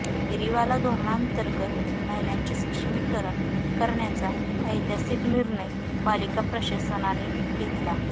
फेरीवाला धोरणाअंतर्गत महिलांचे सक्षमीकरण करण्याचा ऐतिहासिक निर्णय पालिका प्रशासनाने घेतला